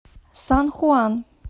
сан хуан